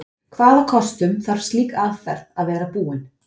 Hvaða kostum þarf slík aðferð að vera búin?